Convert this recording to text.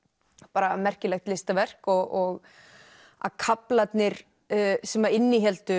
bara merkilegt listaverk og að kaflarnir sem innihéldu